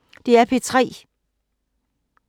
DR P3